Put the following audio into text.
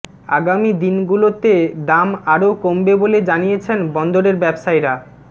আগামী দিনগুলোতে দাম আরও কমবে বলে জানিয়েছেন বন্দরের ব্যবসায়ীরা